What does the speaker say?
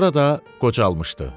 Sonra da qocalmışdı.